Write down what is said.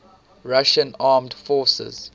russian armed forces